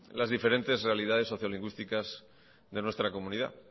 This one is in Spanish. las diferentes realidades socio lingüísticas de nuestra comunidad